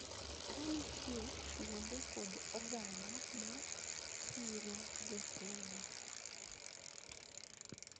Ka nitie kuonde kod oganda ma siro jotelo